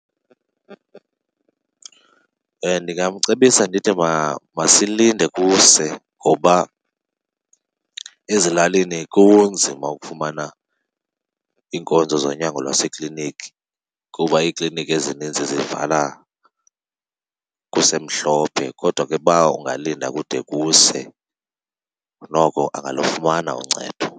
Ndingamcebisa ndithi masilinde kuse ngoba ezilalini kunzima ukufumana iinkonzo zonyango lwasekliniki kuba iikliniki ezininzi zivala kusemhlophe. Kodwa ke uba ungalinda kude kuse noko angalufumana uncedo.